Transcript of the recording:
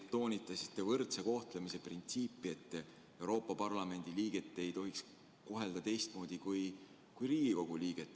Te toonitasite võrdse kohtlemise printsiipi, st Euroopa Parlamendi liiget ei tohiks kohelda teistmoodi kui Riigikogu liiget.